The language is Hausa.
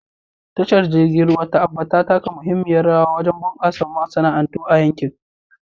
Tashar jirgin ruwa ta Aba ta taka muhimmiyar rawa wajen bunƙasa masana'antu a yankin.